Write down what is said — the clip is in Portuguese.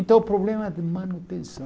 Então o problema é de manutenção.